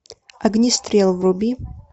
огнестрел вруби